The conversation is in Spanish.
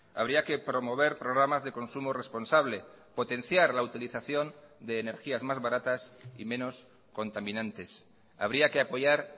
habría que promover programas de consumo responsable potenciar la utilización de energías más baratas y menos contaminantes habría que apoyar